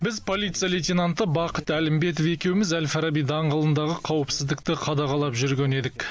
біз полиция лейтенанты бақыт әлімбетов екеуміз әл фараби даңғылындағы қауіпсіздікті қадағалап жүрген едік